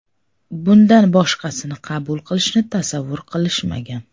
Bundan boshqasini qabul qilishni tasavvur qilishmagan.